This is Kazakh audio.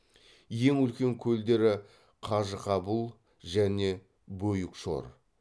ең үлкен көлдері қажықабұл және бөйүкшор